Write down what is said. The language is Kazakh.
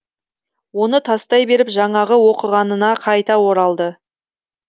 оны тастай беріп жаңағы оқығанына қайта оралды